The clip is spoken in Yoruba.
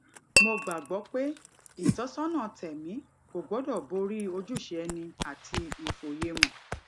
mo gbà gbó pé ìtósónà tèmí kò gbódò borí ojúṣe ẹni àti ìfòyemò